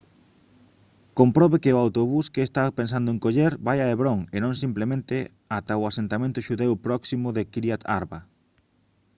comprobe que o autobús que está pensando en coller vai a hebrón e non simplemente ata o asentamento xudeu próximo de kiryat arba